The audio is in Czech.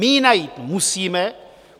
My ji najít musíme.